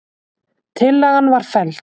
Tillagan var felld